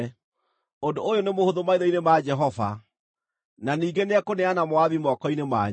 Ũndũ ũyũ nĩ mũhũthũ maitho-inĩ ma Jehova; na ningĩ nĩekũneana Moabi moko-inĩ manyu.